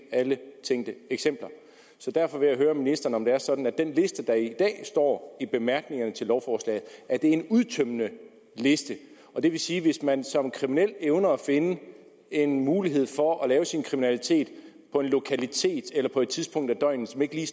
alle tænkte eksempler så derfor vil jeg høre ministeren om det er sådan at den liste der i dag står i bemærkningerne til lovforslaget er en udtømmende liste det vil sige at hvis man som kriminel evner at finde en mulighed for at begå sin kriminalitet på en lokalitet eller på et tidspunkt af døgnet som ikke lige